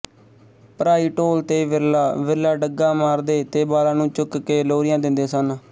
ਭਰਾਈ ਢੋਲ ਤੇ ਵਿਰਲਾ ਵਿਰਲਾ ਡੱਗਾ ਮਾਰਦੇ ਤੇ ਬਾਲਾਂ ਨੂੰ ਚੁੱਕ ਕੇ ਲੋਰੀਆਂ ਦਿੰਦੇ ਸਨ